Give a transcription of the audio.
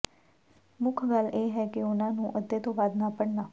ਮੁੱਖ ਗੱਲ ਇਹ ਹੈ ਕਿ ਉਨ੍ਹਾਂ ਨੂੰ ਅੱਧੇ ਤੋਂ ਵੱਧ ਨਾ ਭਰਨਾ